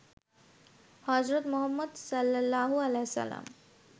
হজরত মুহাম্মদ সা.